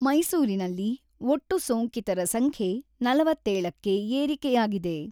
ಮೈಸೂರಿನಲ್ಲಿ ಒಟ್ಟು ಸೋಂಕಿತರ ಸಂಖ್ಯೆ ನಲವತ್ತೇಳು ಕ್ಕೆ ಏರಿಕೆಯಾಗಿದೆ.